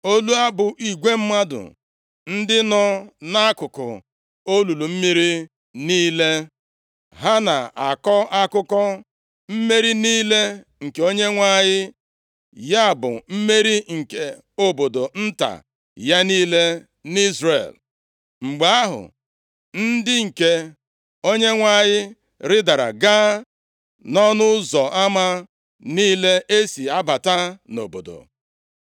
olu abụ igwe mmadụ ndị nọ nʼakụkụ olulu mmiri niile. Ha na-akọ akụkọ mmeri niile nke Onyenwe anyị, ya bụ, mmeri nke obodo nta ya niile nʼIzrel. “Mgbe ahụ, ndị nke Onyenwe anyị ridara gaa nʼọnụ ụzọ ama niile e si abata nʼobodo.